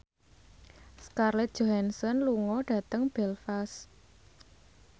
Scarlett Johansson lunga dhateng Belfast